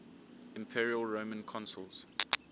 imperial roman consuls